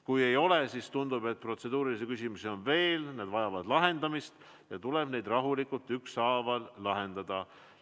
Kui ei ole, siis tundub, et need protseduurilised küsimused, mida on veel, tuleb rahulikult ükshaaval ära lahendada.